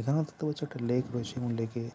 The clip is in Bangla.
এখানে দেখতে পাচ্ছ একটা লেক রয়েছে এবং লেকে আ